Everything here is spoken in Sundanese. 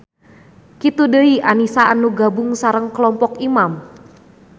Kitu deui Anisa anu gabung sareng kelompok Imam.